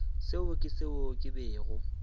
seo ke seo ke bego